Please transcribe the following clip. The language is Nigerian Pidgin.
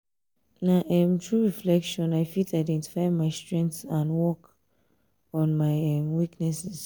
na um through reflection i fit identify my strengths and work um on my weaknesses. um